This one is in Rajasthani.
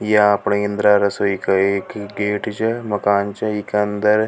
या अपनी इंद्रा रसोई का एक ही गेट मकान छे एके अंदर --